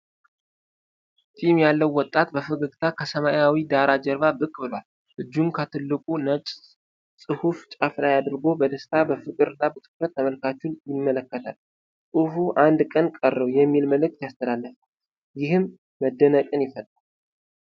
ጢም ያለው ወጣት በፈገግታ ከሰማያዊ ዳራ ጀርባ ብቅ ብሏል። እጁን ከትልቁ ነጭ ጽሑፍ ጫፍ ላይ አድርጎ በደስታ፣ በፍቅር እና በትኩረት ተመልካቹን ይመለከታል። ጽሑፉ "1 ቀን ቀረው!" የሚል መልዕክት ያስተላልፋል፤ ይህም መደነቅን ይፈጥራል።